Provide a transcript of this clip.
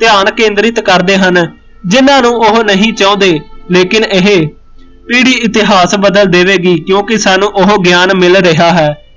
ਧਿਆਨ ਕੇਦਰਿਤ ਕਰਦੇ ਹਨ ਜਿਹਨਾਂ ਨੂੰ ਉਹ ਨਹੀਂ ਚਾਉਂਦੇ ਲੇਕਿਨ ਇਹ ਪੀੜੀ ਇਤਿਹਾਸ ਬਦਲ ਦੇਵੇਗੀ ਕਿਉਕਿ ਸਾਨੂੰ ਗਿਆਨ ਮਿਲ ਰਿਹਾ ਹੈ